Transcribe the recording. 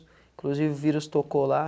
Inclusive, o vírus tocou lá.